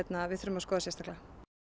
við þurfum að skoða sérstaklega